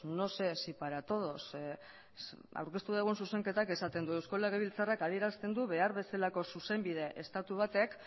no sé si para todos aurkezten dugun zuzenketak esaten du eusko legebiltzarrak adierazten du behar bezalako zuzenbide estatu batek